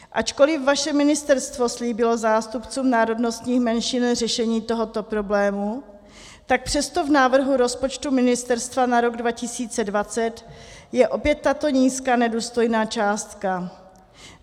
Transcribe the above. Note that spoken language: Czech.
Ačkoliv vaše ministerstvo slíbilo zástupcům národnostních menšin řešení tohoto problému, tak přesto v návrhu rozpočtu ministerstva na rok 2020 je opět tato nízká, nedůstojná částka.